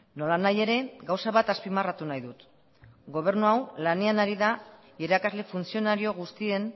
nolanahi ere gauza bat azpimarratu nahi dut gobernu hau lanean ari da irakasle funtzionario guztien